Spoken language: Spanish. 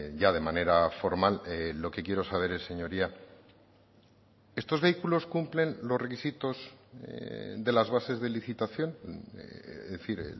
ya de manera formal lo que quiero saber señoría estos vehículos cumplen los requisitos de las bases de licitación es decir